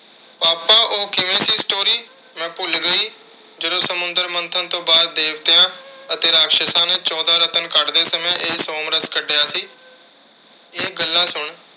papa ਉਹ ਕਿਵੇਂ ਸੀ story ਮੈਂ ਭੁੱਲ ਗਈ ਜਦੋਂ ਸਮੁੰਦਰ ਮੰਥਨ ਤੋਂ ਬਾਅਦ ਦੇਵਤਿਆਂ ਅਤੇ ਰਾਖਸ਼ਸ਼ਾਂ ਨੇ ਚੌਦਾਂ ਰਤਨ ਕੱਢਦੇ ਸਮੇਂ ਇਹ ਸੋਮਰਸ ਕੱਢਿਆ ਸੀ। ਇਹ ਗੱਲਾਂ ਸੁਣ।